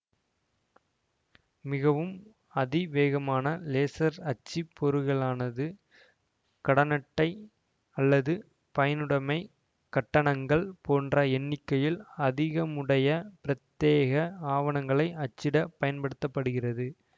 மிகவும் அதிவேகமான லேசர் அச்சுப்பொறிகளானது கடனட்டை அல்லது பயனுடைமை கட்டணங்கள் போன்ற எண்ணிக்கையில் அதிகமுடைய பிரத்யேக ஆவணங்களை அச்சிடப் பயன்படுத்த படுகிறது